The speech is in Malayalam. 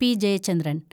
പി. ജയച്ചന്ദ്രന്‍